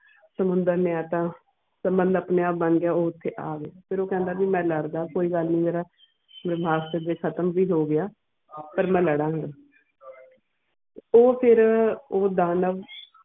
ਸੁਮੰਦਰ ਨਿੱਤ ਫਿਰ ਮੁਤਲਿਬ ਉਹ ਆਪਣੇ ਆਪ ਬਣ ਕੇ ਉਹ ਓਥੇ ਆਵੇ ਫਿਰ ਉਹ ਕੈਨਡਾ ਵੀ ਮੈਂ ਲੜਦਾ ਕੋਈ ਗੱਲ ਨੀ ਜੇਰਾ ਵੀ ਮਾਸਟ ਅਗੇ ਹਤੇਮ ਵੀ ਹੋ ਗਿਆ ਫਿਰ ਮੈਂ ਲਾਰਾ ਗਏ ਉਹ ਫਿਰ ਉਹ ਦਾਨਵ.